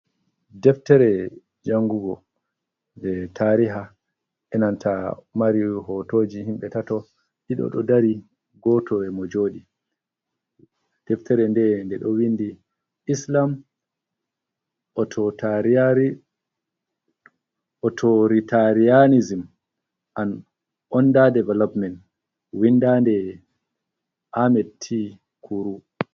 Deftere janngugo nde tariha, enanta mari hootoji himɓe tato, ɗiɗo ɗo dari. Gooto e mo jooɗi ,deftere nde nde ɗo winndi Islam Autoritarianism an onda development winda nde Amet Kuru.